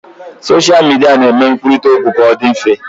Soshal midia na-eme nkwurita okwu ka ọ dị mfe